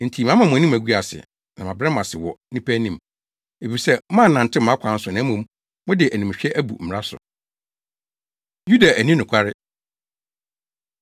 “Enti mama mo anim agu ase na mabrɛ mo ase wɔ nnipa anim, efisɛ moannantew mʼakwan so na mmom mode animhwɛ abu mmara so.” Yuda Anni Nokware